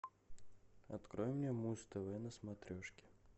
открой мне муз тв на смотрешке